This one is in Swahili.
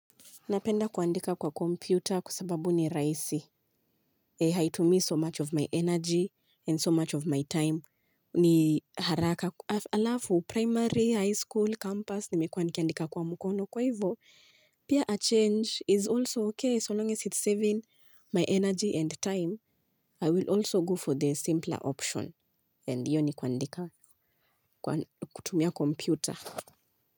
Napenda kuandika kwa kompyuta kwa sababu ni rahisi. Haitumii so much of my energy and so much of my time. Ni haraka alafu, primary, high school, campus, nimekuwa nikiandika kwa mkono. Kwa hivyo, pia a change is also okay so long as it's saving my energy and time. I will also go for the simpler option. And hiyo ni kuandika kutumia kompyuta.